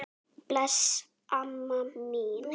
Bless, amma mín.